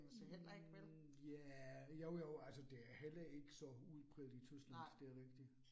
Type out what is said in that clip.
Hm ja, jo jo, altså det er heller ikke så udbredt i Tyskland det er rigtigt